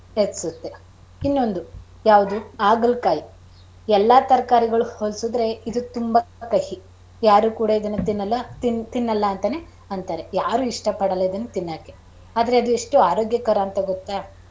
ಹೆಚ್ಚಸುತ್ತೆ ಇನ್ನೊಂದು ಯಾವದು ಆಗಳಕಾಯಿ ಎಲ್ಲ ತರಕಾರಿಗಳಿಗೆ ಹೋಲಿಸಿದ್ರೆ ಇದು ತುಂಬಾ ಕಹಿ ಯಾರು ಕೂಡ ಇದುನ್ನ ತಿನ್ನೋಲ್ಲ~ ತಿನ್ನಲ್ಲ ಅಂತಾರೇ ಯಾರು ಇಷ್ಟ ಪಡಲ್ಲ ಇದುನ್ನ ತಿನ್ನೋಕೆ ಆದರೆ ಎಷ್ಟು ಆರೋಗ್ಯಕರ ಅಂತ ಗೊತ್ತಾ.